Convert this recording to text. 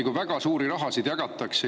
Väga suuri rahasid ju jagatakse.